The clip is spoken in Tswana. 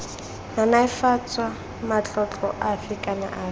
naneofatsa matlotlo afe kana afe